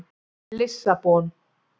Lissabon